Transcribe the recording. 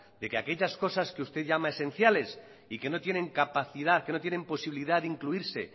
de que aquellas cosas que usted llama esenciales y que no tienen capacidad que no tienen posibilidad de incluirse